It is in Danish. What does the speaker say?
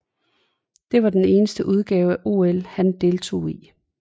Det var den eneste udgave af OL han deltog i